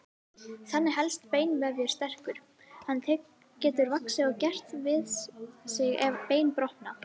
Þannig helst beinvefur sterkur, hann getur vaxið og gert við sig ef bein brotna.